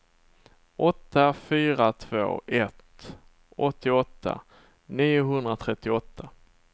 åtta fyra två ett åttioåtta niohundratrettioåtta